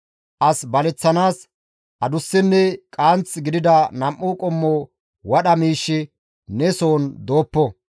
As baleththanaas adussenne qaanth gidida nam7u qommo wadha miishshi ne soon dooppo.